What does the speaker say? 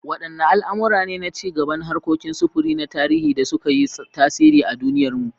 Wadanne al’amura ne na ci gaban harkokin sufuri na tarihi da suka yi tasiri a duniyarmu?